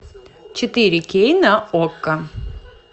четыре кей на окко